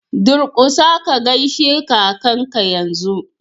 Durƙusa ka gaishe kakanka yanzu!!